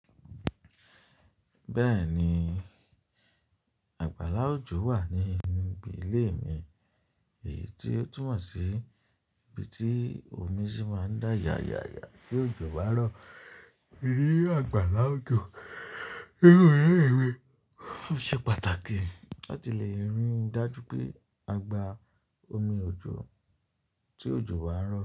Bẹ́ẹ̀ni, àgbàlá òjò wà ní inú bí i ilé mi, èyí tí ó túmọ̀ sí ibi tí omi sì máa ń dá ya ya ya tí òjò bá rọ̀. Irú àgbàlá òjò o ṣe pàtàkì láti lè rí i dájú pé a gba omi òjò tí òjò bá ń rọ̀.